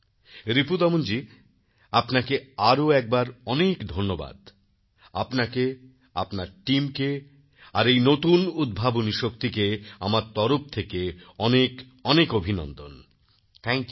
রিপু দমনজী আপনাকে আরও একবার অনেক ধন্যবাদ আপনাকে আপনার টিমকে আর এই নতুন উদ্ভাবনী শক্তিকে আমার তরফ থেকে অনেক অভিনন্দন থ্যাঙ্ক ইউ